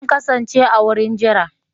Zan kasance a wurin jira